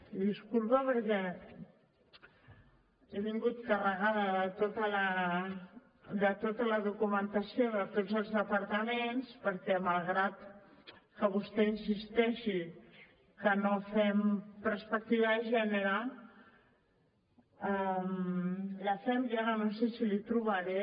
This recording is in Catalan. i disculpa perquè he vingut carregada de tota la documentació de tots els departaments perquè malgrat que vostè insisteixi que no fem perspectiva de gènere la fem i ara no sé si li trobaré